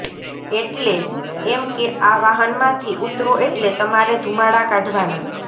એટલે એમ કે આ વાહનમાંથી ઊતરો એટલે તમારે ધુમાડા કાઢવાના